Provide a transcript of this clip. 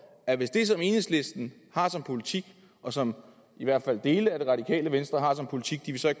at hvis det som enhedslisten har som politik og som i hvert fald dele af det radikale venstre har som politik de vil så